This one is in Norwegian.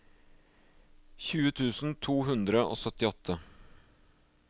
tjue tusen to hundre og syttiåtte